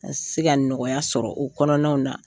An ka se ka nɔgɔya sɔrɔ o kɔnɔnaw na.